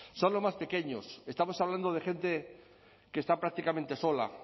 son los más pequeños estamos hablando de gente que está prácticamente sola